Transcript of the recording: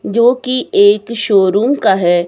जो की एक शोरूम का है।